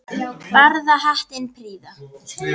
Barða hattinn prýða má.